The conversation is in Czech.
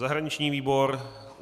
Zahraniční výbor.